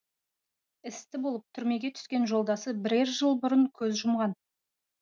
істі болып түрмеге түскен жолдасы бірер жыл бұрын көз жұмған